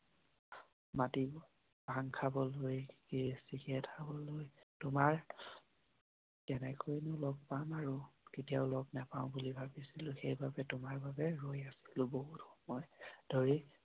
মাতিব ভাং খাবলৈ, বিৰি, চিগাৰেট খাবলৈ। তোমাৰ কেনেকৈ নো লগ পাম আৰু কেতিয়াও লগ নাপাওঁ বুলি ভাবিছিলো সেই বাবে তোমাৰ বাবে ৰৈ আছিলোঁ বহুত সময় ধৰি।